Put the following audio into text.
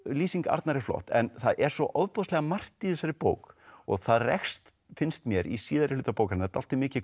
lýsing Arnar er flott en það er svo ofboðslega margt í þessari bók og það rekst finnst mér í síðari hluta bókarinnar dálítið mikið